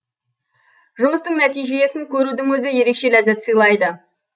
жұмыстың нәтижесін көрудің өзі ерекше ләззат сыйлайды